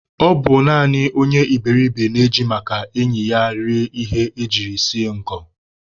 Ọ bụ naanị onye iberiribe na-eji maka enyi ya rie ihe ejiri sie ngọ